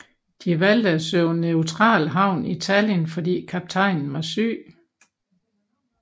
De valgte at søge neutral havn i Tallinn fordi kaptajnen var syg